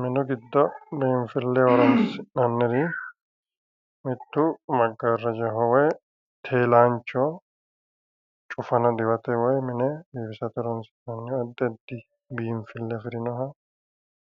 Minu giddo biinfilleho horoonsi'nanniri giddo mittu maggaarrajaho woyi teelaanchoho. Cufana diwate woyi biifisate horoonsi'nanniha addi addi biinfille afirinoha